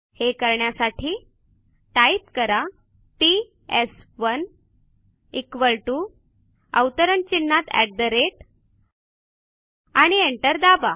हे करण्यासाठी टाईप करा पीएस1 equal टीओ आणि एंटर दाबा